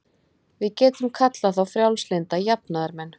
Við getum kallað þá frjálslynda jafnaðarmenn.